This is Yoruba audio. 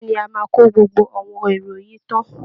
Bẹ́ẹ̀ ni, a máa kó gbogbo àwọn èrò yìí tán